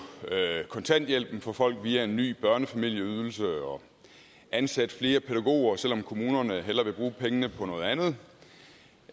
kontanthjælpen for folk via en ny børnefamilieydelse og ansætte flere pædagoger selv om kommunerne hellere vil bruge pengene på noget andet